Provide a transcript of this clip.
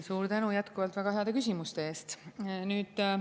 Suur tänu jätkuvalt väga heade küsimuste eest!